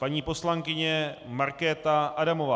Paní poslankyně Markéta Adamová.